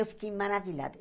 Eu fiquei maravilhada.